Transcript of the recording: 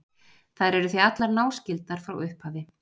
þær eru því allar náskyldar frá upphafi